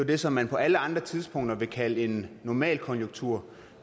det som man på alle andre tidspunkter ville kalde en normal konjunktur